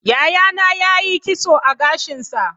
Yayana ya yi kitso a gashinsa.